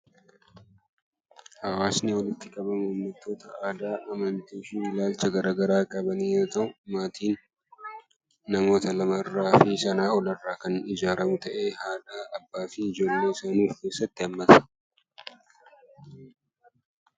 Hawaasni namoota aadaa, amantii fi wantoota garaagaraa waliin qaban yoo ta'u, maatiin namoota lamaa fi sanaa olirraa kan ijaaramu ta'ee, kan abbaa, haadhaa fi ijoollee of keessaa qabudha.